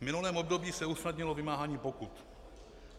V minulém období se usnadnilo vymáhání pokut.